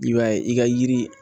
I b'a ye i ka yiri